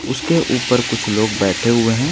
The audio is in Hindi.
उसके ऊपर कुछ लोग बैठे हुए हैं।